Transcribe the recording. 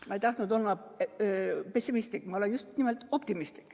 Ma ei tahtnud olla pessimistlik, ma olen just nimelt optimistlik.